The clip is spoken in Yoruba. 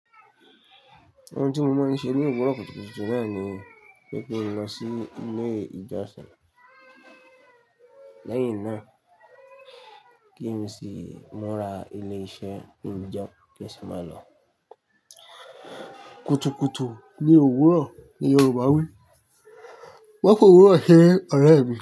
Ohun tí mo máa ń ṣe ní òwúrọ̀ kùtùkùtù náà ni pé kí n lọ sí ilé ìjọsìn. Lẹ́yìn náà kí n sì mura ilé iṣẹ́, kin jẹun kí n si máa lọ. Kùtùkùtù ní òwúrọ̀ ni Yorùbá wí. Mo fi òwuro se ere ọ̀rẹ́ mi.